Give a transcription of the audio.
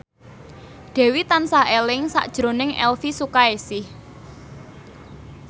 Dewi tansah eling sakjroning Elvi Sukaesih